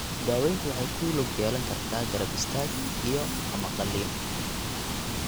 Daaweyntu waxay ku lug yeelan kartaa garab istaag iyo ama qalliin.